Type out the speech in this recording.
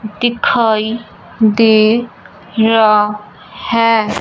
दिखाई दे रहा हैं।